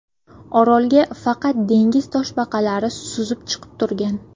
Orolga faqat dengiz toshbaqalari suzib chiqib turgan.